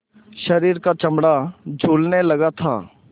शरीर का चमड़ा झूलने लगा था